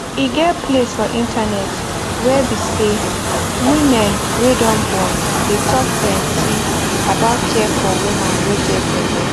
e get place for internet where be say women wey don born dey talk plenty about care for woman wey get belle